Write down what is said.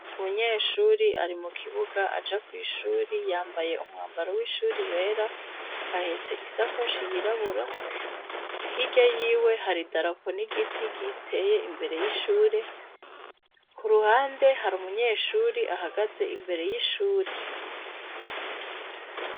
Umunyeshuri arimukibuga aja kw'ishuri, yamabaye umwambaro w'ishuri wera, ahetse isakoshi yirabura, hirya yiwe hari idarapo n'igiti giteye imbere y'ishure, k'uruhande har'umunyeshuri ahagaze imbere y'ishure.